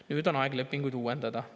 Nüüd on aeg lepinguid uuendada.